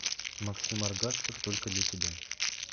максим аргасцев только для тебя